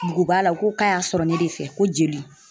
Mugu b'a la u ko k'a y'a sɔrɔ ne de fɛ ko jeli